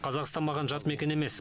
қазақстан маған жат мекен емес